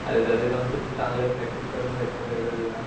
अरे तरी पण खूप चांगले प्रॅक्टिस करून भेटतेत तुला